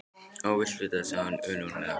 Ef þú vilt vita það, sagði hún önuglega